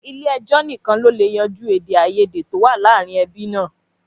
Ilé ẹjọ́ nìkan ló lè yanjú èdè àìyédè tó wà láàárín ẹbí náà